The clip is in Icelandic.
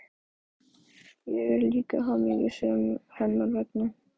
Ég er líka hamingjusöm hennar vegna.